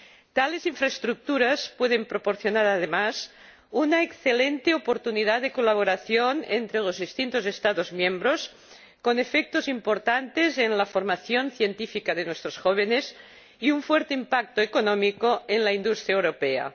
Tales infraestructuras pueden proporcionar además una excelente oportunidad de colaboración entre los distintos Estados miembros, con efectos importantes en la formación científica de nuestros jóvenes y un fuerte impacto económico en la industria europea.